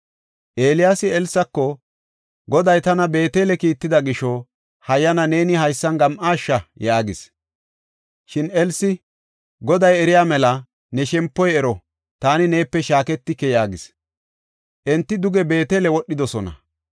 Eeliyaasi Elsako, “Goday tana Beetele kiitida gisho, hayyana neeni haysan gam7aasha” yaagis. Shin Elsi, “Goday eriya mela, ne shempoy ero! Taani neepe shaaketike” yaagis. Enti duge Beetele wodhidosona.